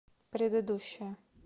предыдущая